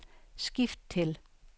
skift til